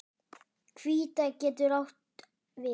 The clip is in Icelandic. Hvíta getur átt við